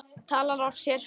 Talar af sér.